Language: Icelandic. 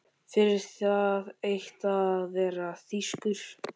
Fyrir það eitt að vera þýskur.